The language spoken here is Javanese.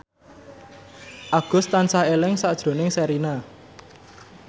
Agus tansah eling sakjroning Sherina